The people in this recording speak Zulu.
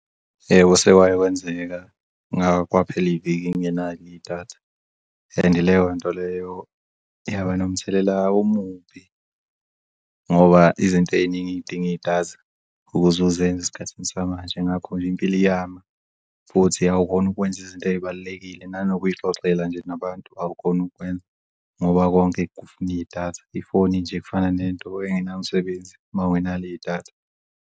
Yebo, sewake kwenzeka, kwaphela iviki ngingenalo idatha and leyo nto leyo yaba nomthelela omubi ngoba izinto ey'ningi zidinga idatha ukuzuzenz' esikhathini samanje. Nakho nje impilo iyama futhi awukhoni ukwenza izinto eyibalulekile, nanokuyixoxela nje nabantu awukhoni ukukwenza ngoba konke kufuni idatha, ifoni nje efana nento engenamsebenzi mawungenalo idatha.